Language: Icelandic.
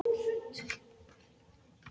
Lofaðu mér að byrja aftur!